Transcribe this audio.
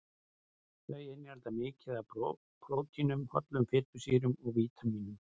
Þau innihalda mikið af prótínum, hollum fitusýrum og vítamínum.